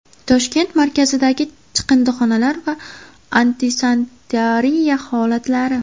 Toshkent markazidagi chiqindixonalar va antisanitariya holatlari.